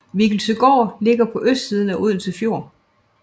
Viggelsøgård ligger på østsiden af Odense Fjord